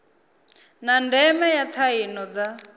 na ndeme ya tsaino dza